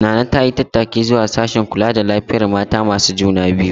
Nana ta yi tattaki zuwa sashen kula da lafiyar mata masu juna biyu.